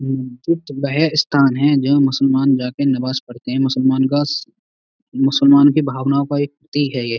वह स्थान है जहां मुसलमान जाके नमाज पढ़ते है। मुसलमान का मुसलमान के भावनाओं का एक प्रतीक है ये।